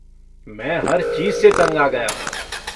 मैं हर चीज़ से तंग आ गया हूँ।